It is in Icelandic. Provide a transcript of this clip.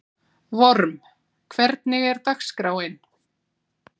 Vorm, hvernig er dagskráin?